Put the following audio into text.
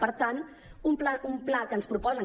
per tant un pla que ens proposen